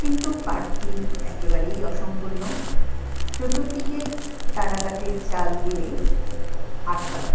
কিন্তু পার্ক টি একেবারেই অসম্পূর্ণ চতুর দিকে তারা কাটির জাল দিয়ে আটকানো।